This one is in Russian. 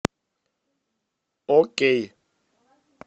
окей